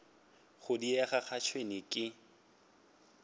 go diega ga tšhwene ke